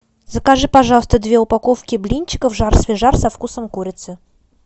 закажи пожалуйста две упаковки блинчиков жар свежар со вкусом курицы